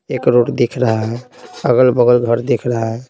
एक रोड दिख रहा है अगल-बगल घर दिख रहा है।